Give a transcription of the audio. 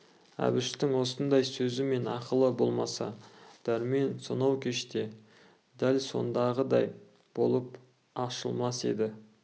әбіштің осындай сөзі мен ақылы болмаса дәрмен сонау кеште дәл сондағыдай болып ашылмас еді